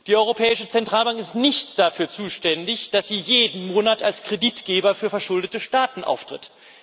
Die Europäische Zentralbank ist nicht dafür zuständig, dass sie jeden Monat als Kreditgeber für verschuldete Staaten auftritt.